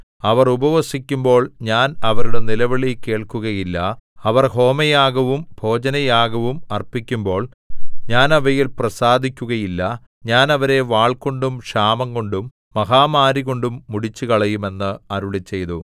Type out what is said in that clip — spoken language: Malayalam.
അവർ ഉപവസിക്കുമ്പോൾ ഞാൻ അവരുടെ നിലവിളി കേൾക്കുകയില്ല അവർ ഹോമയാഗവും ഭോജനയാഗവും അർപ്പിക്കുമ്പോൾ ഞാൻ അവയിൽ പ്രസാദിക്കുകയില്ല ഞാൻ അവരെ വാൾകൊണ്ടും ക്ഷാമംകൊണ്ടും മഹാമാരികൊണ്ടും മുടിച്ചുകളയും എന്ന് അരുളിച്ചെയ്തു